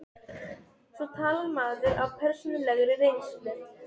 Svo talar maður af persónulegri reynslu.